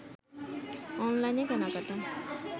অনলাইনে কেনাকাটা